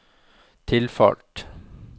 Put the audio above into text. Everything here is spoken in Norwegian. tilfalt